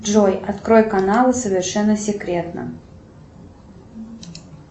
джой открой канал совершенно секретно